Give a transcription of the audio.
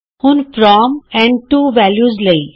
ਹੁਣ ਫਰਾਮ ਅਤੇ to values ਲਈ